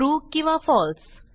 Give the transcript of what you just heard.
true किंवा फळसे